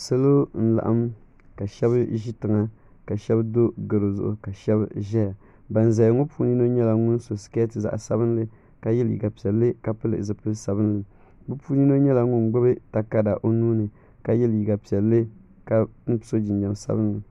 Salo n laɣim ka shɛba zi tiŋa ka shɛba do garo zuɣu ka shɛba zɛya bani zaya ŋɔ puuni so nyɛla ŋuni so sikɛti zaɣi sabinli ka ye liiga piɛlli ka pili zupiligu sabinli bi puuni yino nyɛla ŋuni gbubi takarida o nuu ni ka ye liiga piɛlli ka so jinjam sabinli.